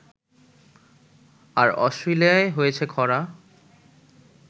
আর অস্ট্রেলিয়ায় হয়েছে খরা